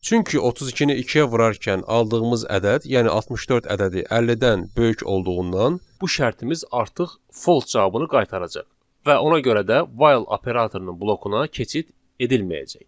Çünki 32-ni ikiyə vurarkən aldığımız ədəd, yəni 64 ədədi 50-dən böyük olduğundan, bu şərtimiz artıq false cavabını qaytaracaq və ona görə də while operatorunun blokuna keçid edilməyəcək.